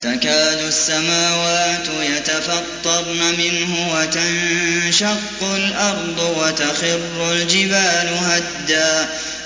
تَكَادُ السَّمَاوَاتُ يَتَفَطَّرْنَ مِنْهُ وَتَنشَقُّ الْأَرْضُ وَتَخِرُّ الْجِبَالُ هَدًّا